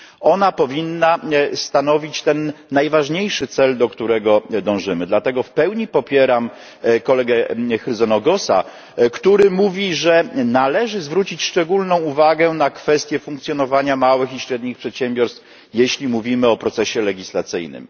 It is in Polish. Ona powinna stanowić ten najważniejszy cel, do którego dążymy, dlatego w pełni popieram kolegę Chrysogonosa, który mówi, że należy zwrócić szczególną uwagę na kwestię funkcjonowania małych i średnich przedsiębiorstw, jeśli mówimy o procesie legislacyjnym.